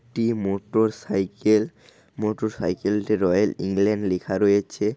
একটি motorcycle. Motorcycle -টি royal England লিখা রয়েছে।